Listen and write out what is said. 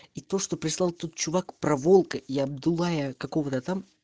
и то что прислал тот чувак про волка и абдулая кого-то там